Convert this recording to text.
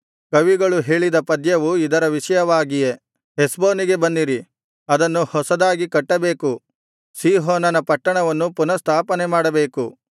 ಕವಿಗಳು ಹೇಳಿದ ಪದ್ಯವು ಇದರ ವಿಷಯವಾಗಿಯೇ ಹೆಷ್ಬೋನಿಗೆ ಬನ್ನಿರಿ ಅದನ್ನು ಹೊಸದಾಗಿ ಕಟ್ಟಬೇಕು ಸೀಹೋನನ ಪಟ್ಟಣವನ್ನು ಪುನಃಸ್ಥಾಪನೆಮಾಡಬೇಕು